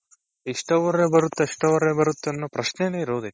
ಇಷ್ಟ್ hourರೆ ಬರುತ್ತೆ ಅಷ್ಟ್ hourರೆ ಬರುತ್ತೆ ಅನ್ನೋ ಪ್ರಶ್ನೇನೆ ಇರೋದಿಲ್ಲ.